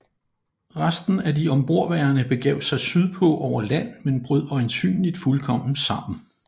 Resten af de ombordværende begav sig syd på over land men brød øjensynligt fuldkommen sammen